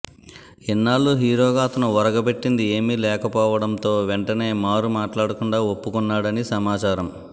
ఇన్నాళ్ళు హీరో గా అతను ఒరగపెట్టింది ఏమి లేక పోవటం తో వెంటనే మారు మాట్లాడ కుండ ఒప్పుకున్నాడని సమాచారం